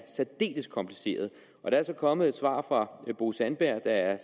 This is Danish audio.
særdeles kompliceret der var så kommet et svar fra bo sandberg der er